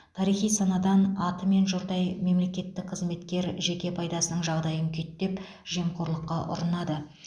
тарихи санадан атымен жұрдай мемлекеттік қызметкер жеке пайдасының жағдайын күйттеп жемқорлыққа ұрынады